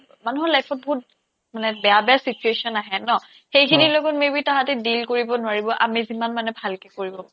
মানুহৰ life ত বহুত মানে বেয়া বেয়া situation আহে ন সেইখিনি লগত maybe তাহাঁতি deal কৰিব নোৱাৰিব আমি যিমান মানে ভালকে কৰিব